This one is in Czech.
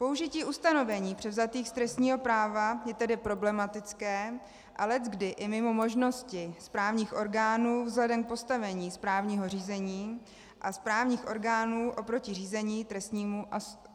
Použití ustanovení převzatých z trestního práva je tedy problematické a leckdy i mimo možnosti správních orgánů vzhledem k postavení správního řízení a správních orgánů oproti řízení trestnímu a soudům.